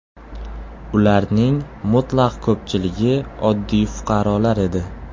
Ularning mutlaq ko‘pchiligi oddiy fuqarolar edi.